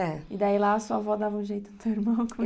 É. E daí lá sua avó dava um jeito do teu irmão.